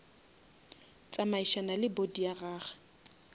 tsamaišana le body ya gage